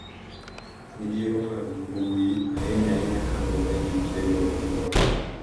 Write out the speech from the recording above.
Midhiero mag mbui, ahinya ahinya ka luwore gi bedo gi loch,